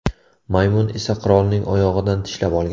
Maymun esa qirolning oyog‘idan tishlab olgan.